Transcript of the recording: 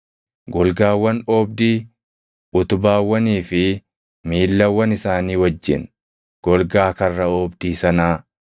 golgaawwan oobdii utubaawwanii fi miillawwan isaanii wajjin, golgaa karra oobdii sanaa,